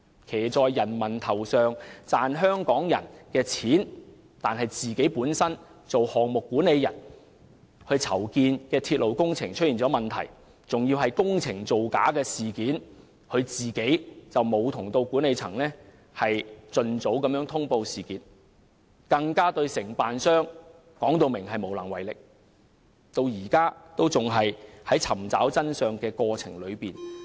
他騎在人民頭上，賺香港人的錢，但作為項目管理人，當籌建的鐵路工程出現問題，涉及工程造假事件時，他和管理層均沒有盡早通報事件，更表明對承建商無能為力，至今仍在尋找真相的過程中。